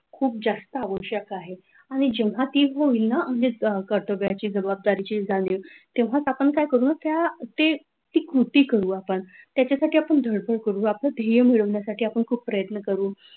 खूप जास्त आवश्यक आहे आणि जेव्हा ती होईना म्हणजे कर्तव्याची जबाबदारीची जाणीव तेव्हा आपण काय करू त्या तर ते कृती करू आपण त्याच्यासाठी आपण धडपड करतो आपण ते ध्येय मिळवण्यासाठी खूप प्रयत्न करू,